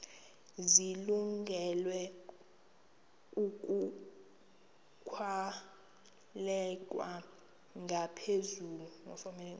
zilungele ukwalekwa ngaphezulu